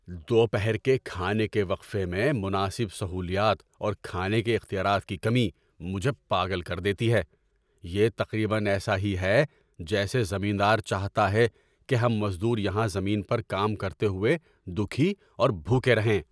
دوپہر کے کھانے کے وقفے میں مناسب سہولیات اور کھانے کے اختیارات کی کمی مجھے پاگل کر دیتی ہے۔ یہ تقریبا ایسا ہی ہے جیسے زمیندار چاہتا ہے کہ ہم مزدور یہاں زمین پر کام کرتے ہوئے دکھی اور بھوکے رہیں۔